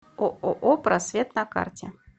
ооо просвет на карте